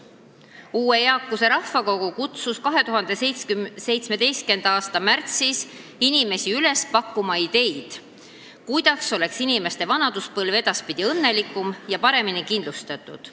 Uue eakuse rahvakogu kutsus 2017. aasta märtsis inimesi üles pakkuma ideid, kuidas saaks inimeste vanaduspõlv edaspidi olla õnnelikum ja paremini kindlustatud.